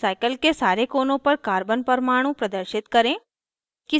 cycle के सारे कोनों पर carbon परमाणु प्रदर्शित करें